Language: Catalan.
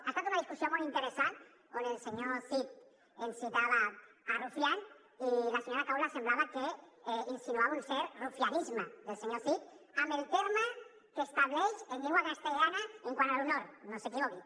ha estat una discussió molt interessant on el senyor cid ens citava rufián i la senyora caula semblava que insinuava un cert rufianisme del senyor cid amb el terme que estableix en llengua castellana quant a l’honor no s’equivoqui